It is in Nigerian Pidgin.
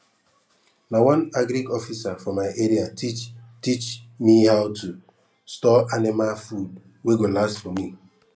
na one agric officer for my area teach teach me how to store anima food wey go last for me